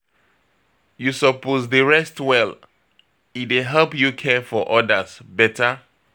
You suppose dey rest well, e dey help you care for odas beta.